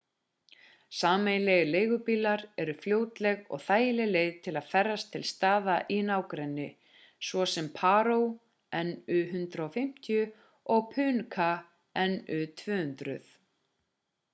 sameiginlegir leigubílar eru fljótleg og þægileg leið til að ferðast til staða í nágrenninu svo sem paro nu 150 og punakha nu 200